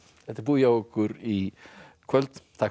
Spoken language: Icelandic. þetta er búið hjá okkur í kvöld takk fyrir